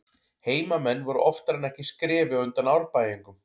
Heimamenn voru oftar en ekki skrefi á undan Árbæingum.